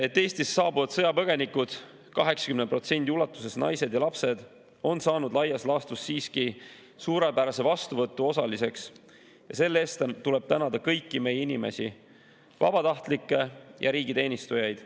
... et Eestisse saabuvad sõjapõgenikud, 80% ulatuses naised ja lapsed, on saanud laias laastus siiski suurepärase vastuvõtu osaliseks ja selle eest tuleb tänada kõiki meie inimesi, vabatahtlikke ja riigiteenistujaid.